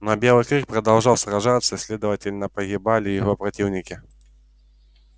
но белый клык продолжал сражаться и следовательно погибали его противники